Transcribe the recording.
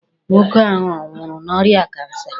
Nwoke ahụ ọ nwụrụ n'orịa kansa?